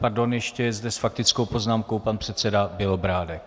Pardon, ještě je zde s faktickou poznámkou pan předseda Bělobrádek.